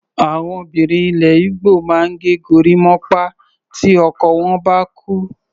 Àwọn obìnrin ilẹ̀ Igbo máa ń ge gorímápá tí ọkọ wọ́n bá kú.